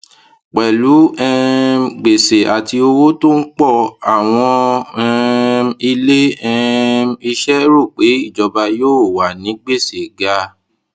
pẹlú um gbèsè àti owó tó ń pọ àwọn um ilé um iṣẹ rò pé ìjọba yóò wà ní gbèsè ga